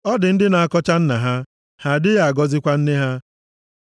“Ọ dị ndị + 30:11 Maọbụ, Ọgbọ na-akọcha nna ha, ha adịghị agọzikwa nne ha;